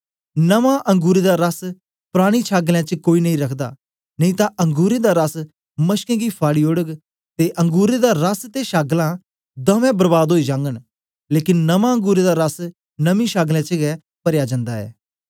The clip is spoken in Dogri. नमां अंगुरें दा रस परानी छागलें च कोई नेई रखदा नेई तां अंगुरें दा रस मशकें गी फाड़ी ओड़ग ते अंगुरें दा रस ते छागलां दुए बर्बाद ओई जागन लेकन नमां अंगुरें दा रस नमीं छागलें च परया जन्दा ऐ